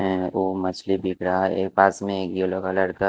है वो मछली बिक रहा है। एक पास में येलो कलर का--